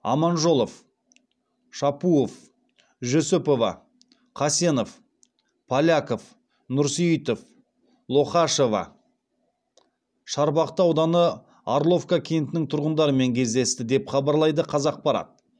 аманжолов шапуов жүсіпова қасенов поляков нұрсейітов лохашева шарбақты ауданы орловка кентінің тұрғындарымен кездесті деп хабарлайды қазақпарат